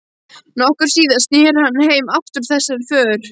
Nokkru síðar sneri hann heim aftur úr þessari för.